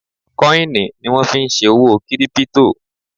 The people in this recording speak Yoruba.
kọ́ìnì ni wọ́n fí n ṣe òwò kírípítò